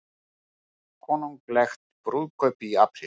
Konunglegt brúðkaup í apríl